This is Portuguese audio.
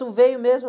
Tu veio mesmo?